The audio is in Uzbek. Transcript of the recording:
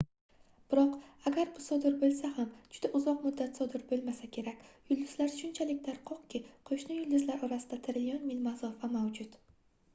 biroq agar bu sodir boʻlsa ham juda uzoq muddat sodir boʻlmasa kerak yulduzlar shunchalik tarqoqki qoʻshni yulduzlar orasida trillion mil masofa mavjud